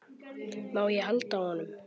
Má ég halda á honum?